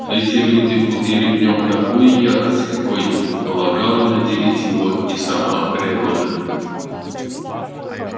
эти люди будили в нем такую ярость какой не предполагала наделить его и сама природа